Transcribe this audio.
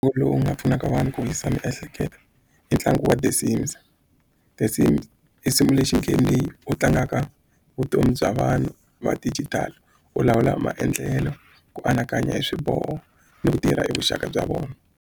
lowu nga pfunaka vanhu ku wisisa miehleketo i ntlangu wa The Sims. The Sims lexi game leyi u tlangaka vutomi bya vanhu va digital u lawula maendlelo ku anakanya hi swiboho ni ku tirha i vuxaka bya vona.